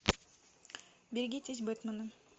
берегитесь бэтмена